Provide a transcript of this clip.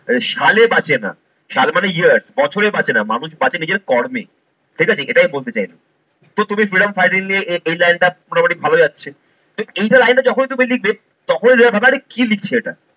সালে বাঁচে না। সাল মানে years বছরে বাঁচে না, মানুষ বাঁচে নিজের কর্মে। এটা ঠিক এটা আমি বলতে চাইছি। So তুমি freedom fighter নিয়ে এই লাইন টা মোটামুটি ভালো যাচ্ছে, তো এই যে লাইনটা যখনই তুমি লিখবে তখনই সবাই ভাববে আরে কি লিখছে এটা।